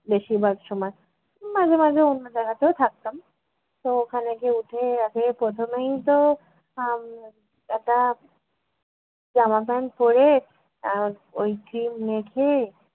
বেশিরভাগ সময়। মাঝে মাঝে অন্য জায়গাতেও থাকতাম। তো ওখানে গিয়ে উঠে আগে প্রথমেই তো আহ একটা জামা pant পড়ে আহ ওই cream মেখে